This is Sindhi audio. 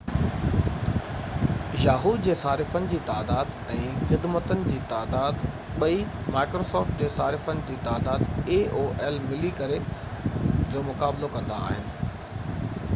yahoo جي صارفن جي تعداد ۽ microsoft خدمتن جي تعداد ٻئي ملي ڪري aol جي صارفن جي تعداد جو مقابلو ڪندا